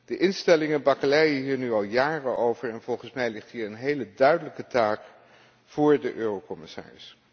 De instellingen bakkeleien hier nu al jaren over en volgens mij ligt hier een hele duidelijke taak voor de Eurocommissaris.